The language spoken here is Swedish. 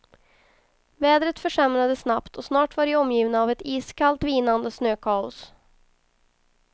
Vädret försämrades snabbt och snart var de omgivna av ett iskallt, vinande snökaos.